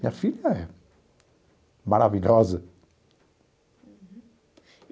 Minha filha é maravilhosa. Uhum.